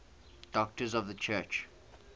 doctors of the church